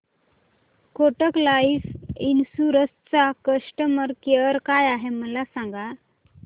Kotak life insurance चा customer care काय आहे मला सांगा